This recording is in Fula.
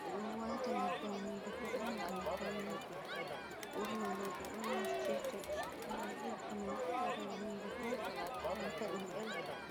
ɓe ɗo waata nyebbam hunnduko on ngam pawne, ɓurna rooɓe on naftirta ngam ɗiggina laral hunnduko waata ɗum delka.